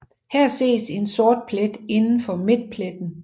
Her ses en sort plet indenfor midtpletten